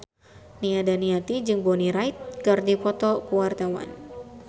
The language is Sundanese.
Nia Daniati jeung Bonnie Wright keur dipoto ku wartawan